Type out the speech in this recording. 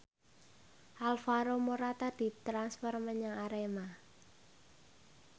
Alvaro Morata ditransfer menyang Arema